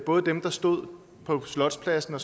både dem der stod på slotspladsen og